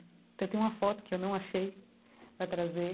Até tem uma foto que eu não achei para trazer.